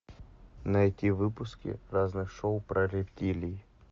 найти выпуски разных шоу про рептилий